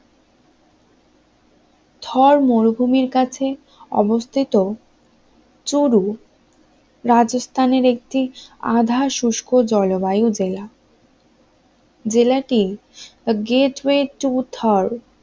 থর মরুভূমির কাছে অবস্থিত চরু রাজস্থানের একটি আধা শুষ্ক জলবায়ু জেলা জেলাটি গেট ওয়েট টু থর